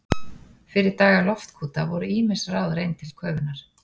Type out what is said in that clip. Fyrir daga loftkúta voru ýmis ráð reynd til köfunar.